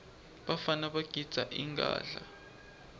bafana bagidza ingadla